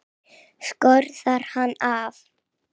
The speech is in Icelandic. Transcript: Skorðar hann af.